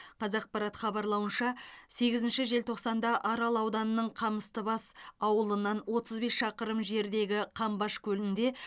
қазақпарат хабарлауынша сегізінші желтоқсанда арал ауданының қамыстыбас ауылынан отыз бес шақырым жердегі қамбаш көлінде